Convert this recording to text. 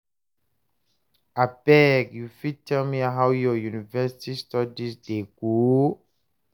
abeg you fit tell me how your university studies dey go?